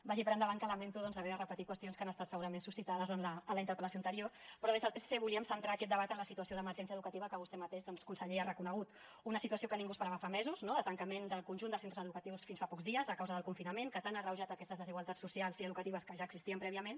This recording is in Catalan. vagi per endavant que lamento doncs haver de repetir qüestions que han estat segurament suscitades en la interpel·lació anterior però des del psc volíem centrar aquest debat en la situació d’emergència educativa que vostè mateix doncs conseller ha reconegut una situació que ningú esperava fa mesos no de tancament del conjunt de centres educatius fins fa pocs dies a causa del confinament que tant ha agreujat aquestes desigualtats socials i educatives que ja existien prèviament